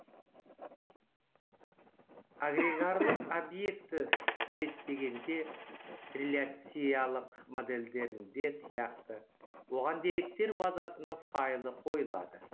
агрегарлық обьекті суреттегенде реляциялық модельдерінде сияқты оған деректер базасының файлы қойылады